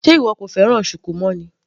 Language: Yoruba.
Sé ìwọ kò fẹ́ràn shuku mọ́ ni.